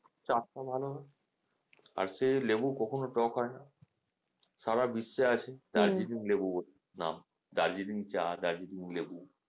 চাষাবাদ আর সেই লেবু কখনো টক হয়না সারা বিশ্বে আসে Darjeeling লেবু ব নাম, Darjeeling চা Darjeeling লেবু,